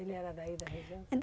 Ele era daí da região?